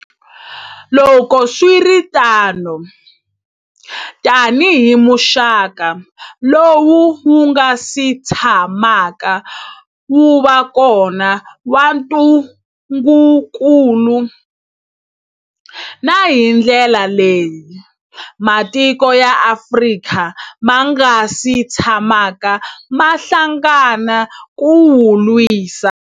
Loko swi ri tano, tanihi muxaka lowu wu nga si tsha maka wu va kona wa ntu ngukulu, na hi ndlela leyi matiko ya Afrika ma nga si tshamaka ma hlangana ku wu lwisa.